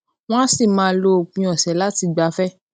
wón á sì máa lo òpin òsè láti gbafẹ